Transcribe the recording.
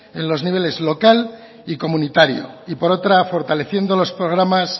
en los niveles local y comunitario y por otra fortaleciendo los programas